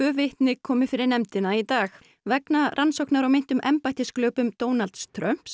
vitni komu fyrir nefndina í dag vegna rannsóknar á meintum Donalds Trump